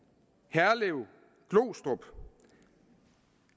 herlev glostrup